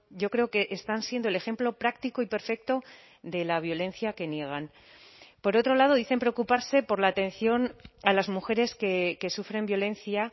yo creo que están siendo el ejemplo práctico y perfecto de la violencia que niegan por otro lado dicen preocuparse por la atención a las mujeres que sufren violencia